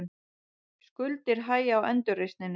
Skuldir hægja á endurreisninni